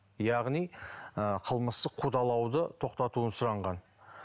яғни ы қылмыстық қудалауды тоқтатуын сұранған